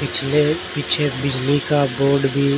पिछले पीछे बिजली का बोर्ड भी --